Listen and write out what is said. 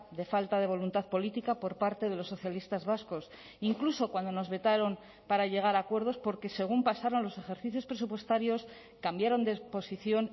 de falta de voluntad política por parte de los socialistas vascos incluso cuando nos vetaron para llegar a acuerdos porque según pasaron los ejercicios presupuestarios cambiaron de exposición